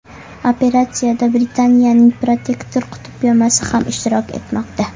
Operatsiyada Britaniyaning Protector qutb kemasi ham ishtirok etmoqda.